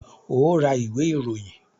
Óò ra ìwé ìròyìn!